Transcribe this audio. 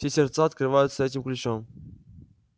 все сердца открываются этим ключом